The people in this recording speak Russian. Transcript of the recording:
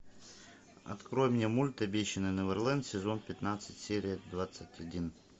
открой мне мульт обещанный неверленд сезон пятнадцать серия двадцать один